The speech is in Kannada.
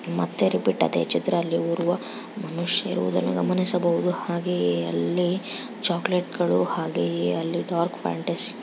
ಮತ್ತೆ ರಿಪೀಟ್ ಅದೇ ಚಿತ್ರ ಅಲ್ಲಿ ಓರ್ವ ಮನುಷ್ಯ ಇರುವುದನ್ನು ಗಮನಿಸಬಹುದು ಹಾಗೆ ಅಲಿ ಚಾಕಲೇಟ್ ಗಳು ಹಾಗೆ ಡಾರ್ಕ್ ಫ್ಯಾಂಟಸಿ --